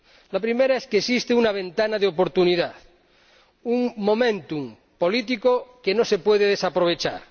La primera es que existe una ventana de oportunidad un momentum político que no se puede desaprovechar.